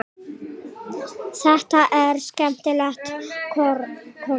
Þetta eru skemmtilegar konur.